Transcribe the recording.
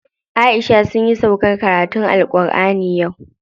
Aisha sunyi sauƙar karatun AlƘurʼani yau.